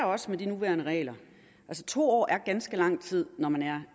også med de nuværende regler to år er ganske lang tid når man er